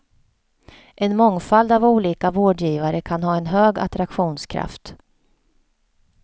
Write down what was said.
En mångfald av olika vårdgivare kan ha en hög attraktionskraft.